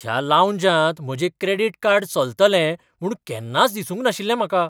ह्या लाऊंजांत म्हजें क्रेडीट कार्ड चलतलें म्हूण केन्नाच दिसूंक नाशिल्लें म्हाका!